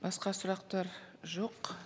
басқа сұрақтар жоқ